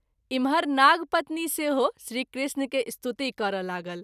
इम्हर नाग पत्नी सेहो श्री कृष्ण के स्तुति करय लागल।